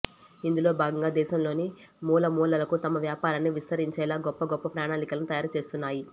ఇందులో భాగంగా దేశంలోని మూలమూలలకు తమ వ్యాపారాన్ని విస్తరించేలా గొప్ప గొప్ప ప్రణాళికలను తయారు చేస్తున్నాయి